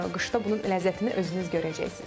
Qışda bunun ləzzətini özünüz görəcəksiniz.